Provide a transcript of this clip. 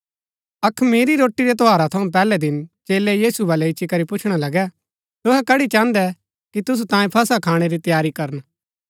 अखमीरी रोटी रै त्यौहारा थऊँ पैहलै दिन चेलै यीशु बलै इच्ची करी पुछणा लगै तुहै कड़ी चाहन्दै कि तुसु तांयें फसह खाणै री तैयारी करन